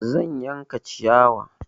Zan yanka ciyawa.